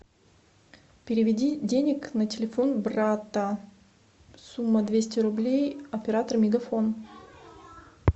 переведи денег на телефон брата сумма двести рублей оператор мегафон